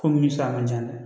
Komi sisa man ca dɛ